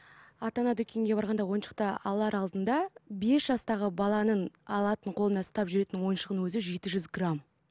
ата ана дүкенге барғанда ойыншықты алар алдында бес жастағы баланың алатын қолына ұстап жүретін ойыншығының өзі жеті жүз грамм